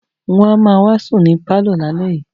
Wọ́n á ma wá sùn ní pálọ̀ lálẹ́ yìí